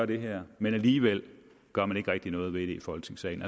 det her men alligevel gør man ikke rigtig noget ved det i folketingssalen